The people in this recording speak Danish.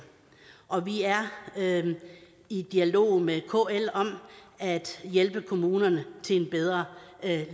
og vi er i dialog med kl om at hjælpe kommunerne til en bedre